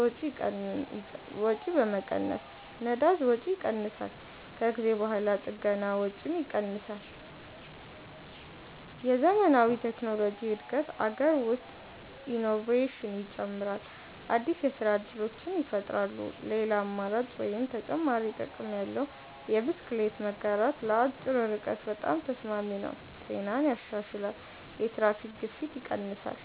2. የወጪ መቀነስ ነዳጅ ወጪ ይቀንሳል ከጊዜ በኋላ ጥገና ወጪም ይቀንሳል የዘመናዊ ቴክኖሎጂ እድገት አገር ውስጥ ኢኖቬሽን ይጨምራል አዲስ የስራ እድሎች ይፈጠራሉ ሌላ አማራጭ (ተጨማሪ ጥቅም ያለው) የብስክሌት መጋራት ለአጭር ርቀት በጣም ተስማሚ ነው ጤናን ያሻሽላል የትራፊክ ግፊት ይቀንሳል